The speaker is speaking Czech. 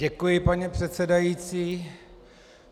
Děkuji, pane předsedající.